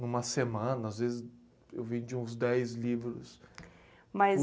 Numa semana, às vezes eu vendi uns dez livros